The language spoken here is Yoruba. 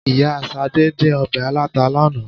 Ìyá Ṣadé dín ọbẹ̀ aláta lánàá.